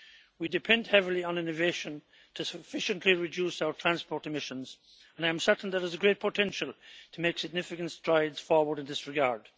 We depend heavily on innovation to sufficiently reduce our transport emissions, and I am certain there is a great potential to make significant strides forward in this regard.